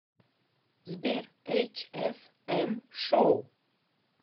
сбер эйч эф эм шоу